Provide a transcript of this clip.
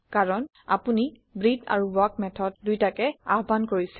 কাৰন আপোনি ব্ৰেটহে আৰু ৱাল্ক মেথড দুইটাকে আহ্বান কৰিছে